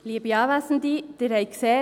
Kommissionssprecherin der SiK-Minderheit.